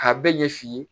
K'a bɛɛ ɲɛ f'i ye